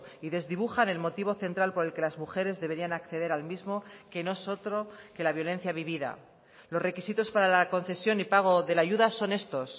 y desdibujan el motivo central por el que las mujeres deberían acceder al mismo que no es otro que la violencia vivida los requisitos para la concesión y pago de la ayuda son estos